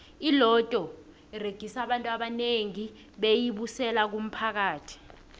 iloto uregisa abantu abanengi beyi busela kumphakathi